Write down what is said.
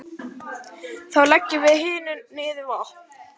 Þá leggjum við hinir niður vopn.